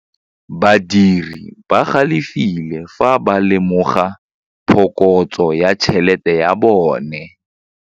Badiri ba galefile fa ba lemoga phokotsô ya tšhelête ya bone.